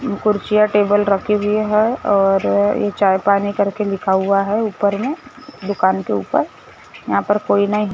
कुर्सियां टेबल रखी हुई है और ये चाय पानी करके लिखा हुआ है ऊपर में दुकान के ऊपर यहां पर कोई नहीं--